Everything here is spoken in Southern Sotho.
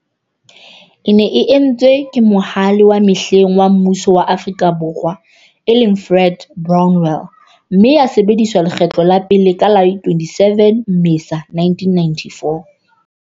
E ne e etswe ke Mohale wa mehleng wa mmuso wa Afrika Borwa, e leng, Fred Brownell, mme ya sebediswa lekgetlo la pele ka la 27 Mmesa 1994.